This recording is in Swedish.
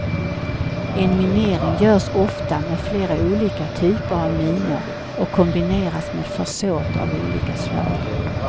En minering görs ofta med olika typer av minor och kombineras med försåt av olika slag.